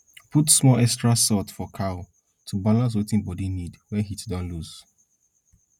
put small extra salt for cow to balance wetin body need wey heat don lose